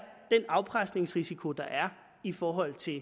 den afpresningsrisiko der er i forhold til